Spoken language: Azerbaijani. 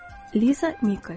Liza Nikels.